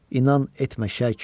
İnan etmə şəkk.